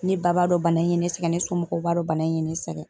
Ne ba b'a dɔn bana in ye ne sɛgɛn ne somɔgɔw b'a dɔn bana in ye ne sɛgɛn.